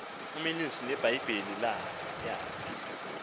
umalusi nebhayibhile yakhe